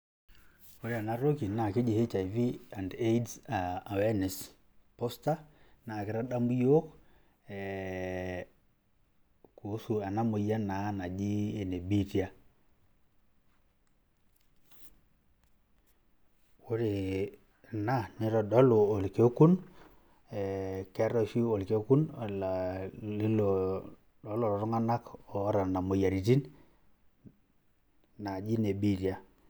Ore ena toki naake eji HIV and AIDs awareness poster, naake itadamu iyiok ee kuhusu ena moyian naa naaji ene biitia. Ore ena nitodolu orkekun, ee keetai oshi orkekun lilo lo lelo tung'anak oota nena moyiaritin naaji ine biitia.